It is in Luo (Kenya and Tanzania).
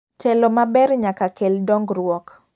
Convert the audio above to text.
Telo maber nyaka kel dongruok.